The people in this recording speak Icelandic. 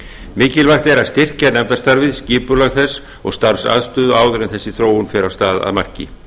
mikilvægt er að styrkja nefndastarfið skipulag þess og starfsaðstöðu áður en þessi þróun fer af stað að marki